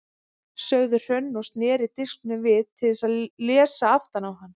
sagði Hrönn og sneri disknum við til að lesa aftan á hann.